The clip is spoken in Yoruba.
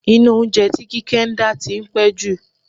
Iná oúnjẹ tí Kíkẹ́ ń dá tí ń pẹ́ jù.